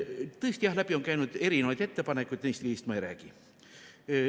Tõesti, läbi on käinud erinevaid ettepanekuid, neist ma ei räägi.